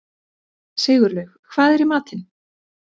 Sigurlaug, hvað er í matinn?